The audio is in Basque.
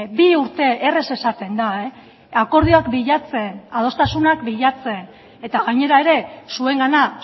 bi urte erraz esaten da akordioak bilatzen adostasunak bilatzen eta gainera ere zuengana